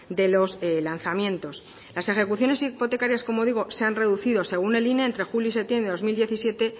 de los lanzamientos las ejecuciones hipotecarias como digo se han reducido según el ine entre julio y septiembre de dos mil diecisiete